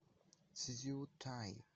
цзютай